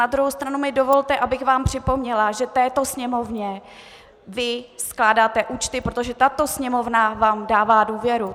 Na druhou stranu mi dovolte, abych vám připomněla, že této Sněmovně vy skládáte účty, protože tato Sněmovna vám dává důvěru.